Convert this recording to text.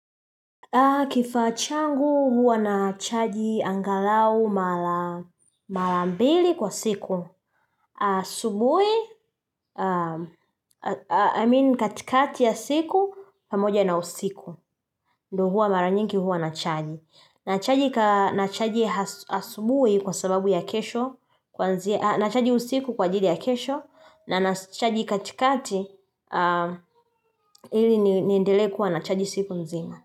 Kifaa changu huwa na chaji angalau mara mara mbili kwa siku. Asubui, I mean katikati ya siku, pamoja na usiku. Ndo huwa mara nyingi huwa na chaji. Na chaji asubui kwa sababu ya kesho, na chaji usiku kwa ajili ya kesho, na na chaji katikati ili niendelee kuwa na chaji siku nzima.